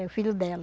É o filho dela.